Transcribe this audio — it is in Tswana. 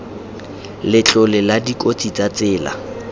letlole la dikotsi tsa tsela